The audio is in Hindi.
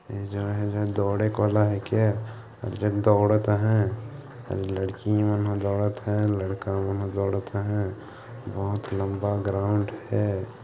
ये जो है दौड़े के वाला है के जो दौड़त है लड़कीमन ह दौड़त है लड़का मन ह दौड़त है बहुत लंबा ग्राउंड है।